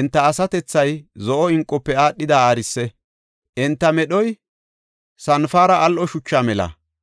Enta asatethay zo7o inqofe aadhida aarise; enta medhoy sanpare al7o shucha mela.